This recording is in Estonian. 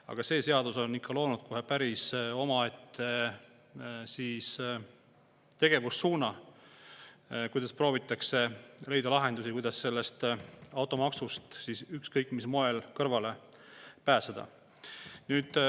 Aga see seadus on tekitanud kohe päris omaette tegevussuuna: proovitakse leida lahendusi, kuidas automaksust ükskõik mis moel kõrvale pääseda.